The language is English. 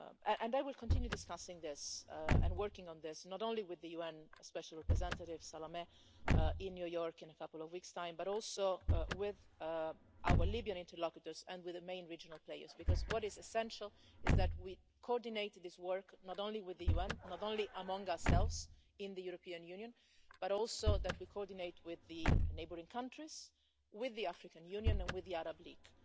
And I will continue discussing this and working on this, not only with the UN special representative Salamé in New York in a couple of weeks' time, but also with our Libyan interlocutors and with the main regional players, because what is essential is that we coordinate this work not only with the UN, not only among ourselves in the European Union, but also that we coordinate with the neighbouring countries, with the African Union and with the Arab League.